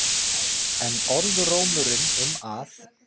En orðrómurinn um að